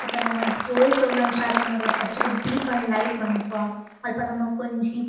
ಬೊಕ್ಕ ನಮ ಒವ್ವೆ ಪ್ರೊಗ್ರಾಮ್ ಸ್ಟಾರ್ಟ್ ಮನ್ಪುನಗಲ ಫಸ್ಟ್ ಗ್ ದೀಪ ನ್ ಲೈಟ್ ಮನ್ಪುವ ಅಲ್ಪ ನಮಕ್ ಒಂಜಿ--